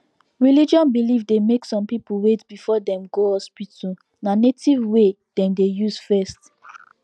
religion belief dey make some people wait before dem go hospital na native way dem dey use first